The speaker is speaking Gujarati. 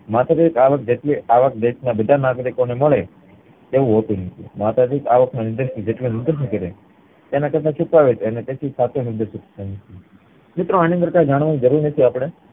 માથાદીઠ અવાક જેટલી અવાક દેશ ના બધા નાગરિકોને મળે એવું હોતું નથી માથાદીઠ અવાક ને લીધે જેટલું તેના કરતા મિત્રો એની અંદર જાણવાની કય જરૂર નથી અપડે